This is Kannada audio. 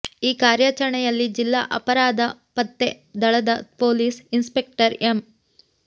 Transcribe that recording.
ಈ ಕಾರ್ಯಾಚರಣೆಯಲ್ಲಿ ಜಿಲ್ಲಾ ಅಪ ರಾಧ ಪತ್ತೆ ದಳದ ಪೊಲೀಸ್ ಇನ್ಸ್ಪೆಕ್ಟರ್ ಎಂ